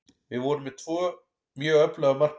Við vorum með tvo mjög öfluga markmenn.